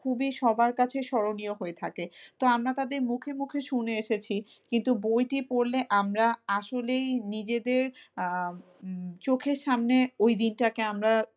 খুবই সবার কাছে স্মরণীয় হয়ে থাকে তো আমরা তাদের মুখে মুখে শুনে এসেছি কিন্তু বইটি পড়লে আমরা আসলেই নিজেদের আহ উম চোখের সামনে ওই দিনটাকে আমরা,